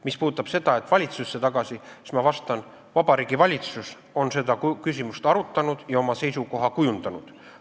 Mis puudutab seda, et see läheks valitsusse tagasi, siis ma vastan: Vabariigi Valitsus on seda küsimust arutanud ja oma seisukoha kujundanud.